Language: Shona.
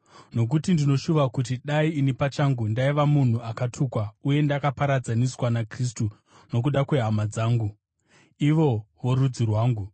Nokuti ndinoshuva kuti dai ini pachangu ndaiva munhu akatukwa uye ndakaparadzaniswa naKristu nokuda kwehama dzangu, ivo vorudzi rwangu,